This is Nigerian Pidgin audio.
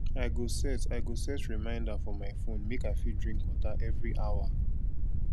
i go set i go set reminder for my phone make i fit drink water every hour